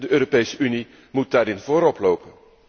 De Europese Unie moet daarin voorop lopen.